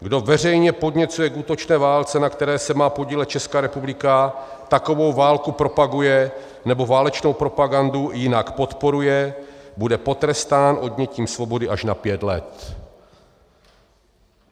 Kdo veřejně podněcuje k útočné válce, na které se má podílet Česká republika, takovou válku propaguje nebo válečnou propagandu jinak podporuje, bude potrestán odnětím svobody až na pět let.